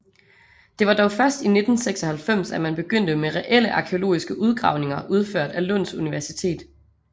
Det var dog først i 1996 at man begyndte med reelle arkæologiske udgravninger udført af Lunds Universitet